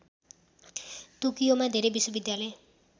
टोकियोमा धेरै विश्वविद्यालय